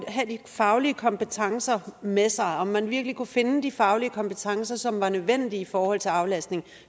have de faglige kompetencer med sig om man virkelig kunne finde de faglige kompetencer som var nødvendige i forhold til aflastning